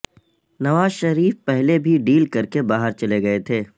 نواز شریف پہلے بھی ڈیل کر کے باہر چلے گئے تھے